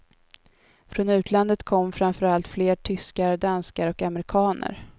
Från utlandet kom framför allt fler tyskar, danskar och amerikaner.